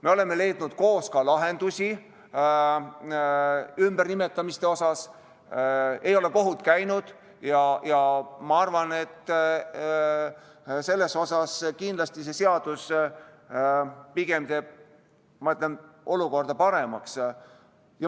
Me oleme leidnud koos lahendusi ka ümbernimetamiste puhul, ei ole kohut käinud ja ma arvan, et selles mõttes kindlasti see seadus teeb olukorda pigem paremaks.